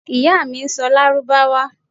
Iya mi n sọ lárúbáwá